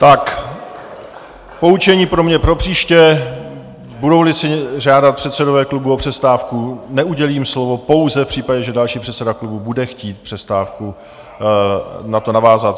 Tak poučení pro mě propříště - budou-li si žádat předsedové klubů o přestávku, neudělím slovo, pouze v případě, že další předseda klubu bude chtít přestávkou na to navázat.